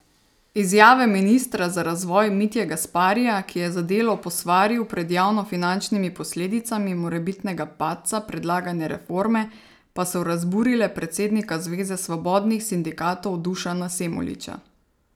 Izjave ministra za razvoj Mitje Gasparija, ki je za Delo posvaril pred javnofinančnimi posledicami morebitnega padca predlagane reforme, pa so razburile predsednika zveze svobodnih sindikatov Dušana Semoliča.